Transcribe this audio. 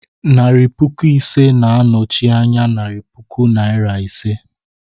Narị puku ise na-anọchi anya narị puku Naịra ise.